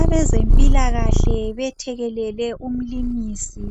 Abazempilakahle bethekelele umlimisi